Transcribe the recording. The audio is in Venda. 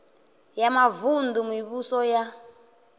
ya mavun ḓu mivhuso ya